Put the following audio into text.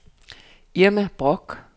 Irma Bork